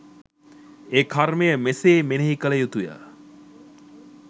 ඒ කර්මය මෙසේ මෙනෙහි කළ යුතුය.